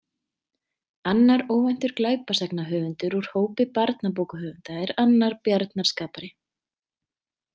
Annar óvæntur glæpasagnahöfundur úr hópi barnabókahöfunda er annar bjarnarskapari.